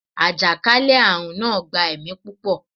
àjàkálẹ̀-arun naa gba ẹmi pupọ